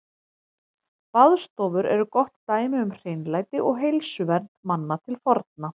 Baðstofur eru gott dæmi um hreinlæti og heilsuvernd manna til forna.